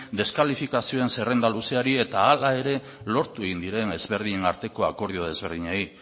deskalifikazioen zerrenda luzeari eta hala ere lortu egin diren ezberdinen arteko akordio ezberdinei